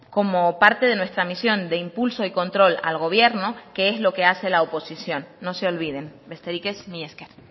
como parte de nuestra misión de impulso y control al gobierno que es lo que hace la oposición no se olviden besterik ez mila esker